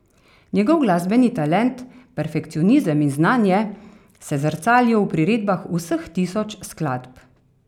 Njegov glasbeni talent, perfekcionizem in znanje se zrcalijo v priredbah vseh tisoč skladb.